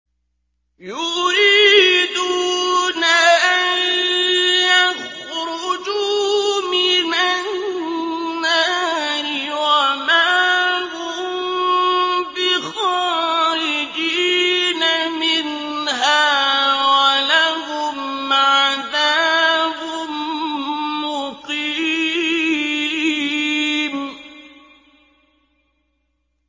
يُرِيدُونَ أَن يَخْرُجُوا مِنَ النَّارِ وَمَا هُم بِخَارِجِينَ مِنْهَا ۖ وَلَهُمْ عَذَابٌ مُّقِيمٌ